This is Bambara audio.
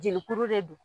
Jelikuru de don